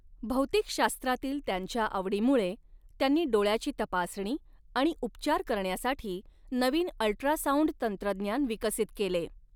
भौतिकशास्त्रातील त्यांच्या आवडीमुळे त्यांनी डोळ्याची तपासणी आणि उपचार करण्यासाठी नवीन अल्ट्रासाऊंड तंत्रज्ञान विकसित केले.